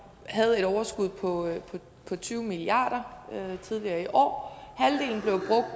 havde et overskud på tyve milliard kroner tidligere i år halvdelen blev